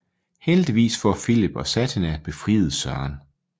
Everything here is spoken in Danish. Heldigvis får Filip og Satina befriet Søren